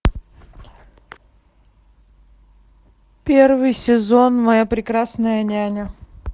первый сезон моя прекрасная няня